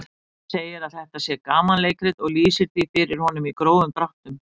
Svenni segir að þetta sé gamanleikrit og lýsir því fyrir honum í grófum dráttum.